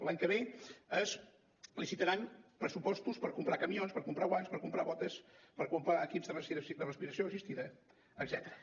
l’any que ve es licitaran pressupostos per comprar camions per comprar guants per comprar botes per comprar equips de respiració assistida etcètera